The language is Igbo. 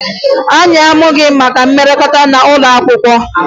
Anyị amụghị maka mmekọrịta n'ụlọ akwụkwọ